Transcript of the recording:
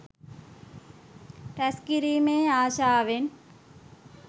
රැස්කිරීමේ ආශාවෙන්